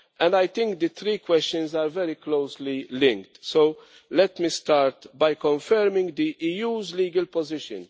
I think the three questions are very closely linked, so let me start by confirming the EU's legal position.